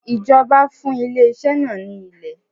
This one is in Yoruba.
Ìjọba fún ilé iṣẹ́ náà ní ilè.